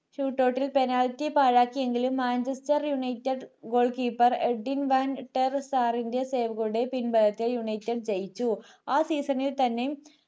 shootuot ൽ penalty പാഴാക്കിയെങ്കിലും manchester united goal keeper Edwin വാൻട്ടർസെറിൻറ്റെ പിൻബലത്തിൽ manchester ജയിച്ചു ആ season ൽത്തന്നെ